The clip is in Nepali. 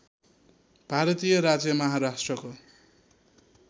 भारतीय राज्य महाराष्ट्रको